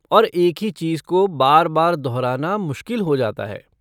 और एक ही चीज को बार बार दोहराना मुश्किल हो जाता है।